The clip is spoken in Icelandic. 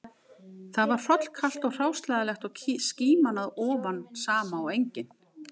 Þar var hrollkalt og hráslagalegt og skíman að ofan sama og engin